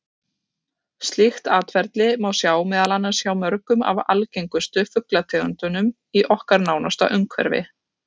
Slíkt atferli má sjá meðal annars hjá mörgum af algengustu fuglategundunum í okkar nánasta umhverfi.